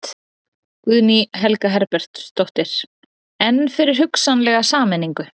Guðný Helga Herbertsdóttir: En fyrir hugsanlega sameiningu?